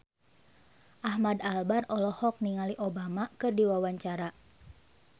Ahmad Albar olohok ningali Obama keur diwawancara